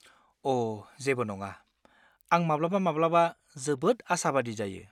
अ' जेबो नङा, आं माब्लाबा-माब्लाबा जोबोद आसाबादि जायो।